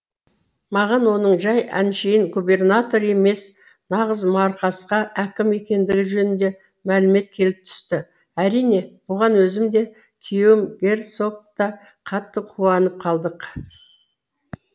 маған оның жай әншейін губернатор емес нағыз марқасқа әкім екендігі жөнінде мәлімет келіп түсті әрине бұған өзім де күйеуім герцог та қатты қуанып қалдық